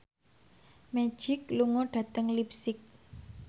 Magic lunga dhateng leipzig